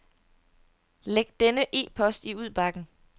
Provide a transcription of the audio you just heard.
Læg denne e-post i udbakken.